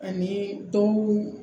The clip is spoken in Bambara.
Ani dɔw